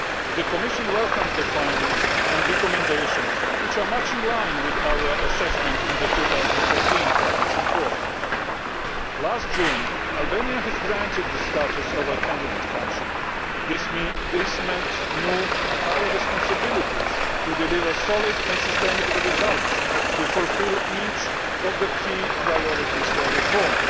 The Commission welcomes the findings and recommendations, which are much in line with our assessment in the 2014 Progress Report. Last June, Albania was granted the status of a candidate country. This meant new, higher responsibilities to deliver solid and sustainable results to fulfil each of the key priorities for reform.